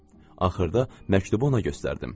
Axırda məktubu ona göstərdim.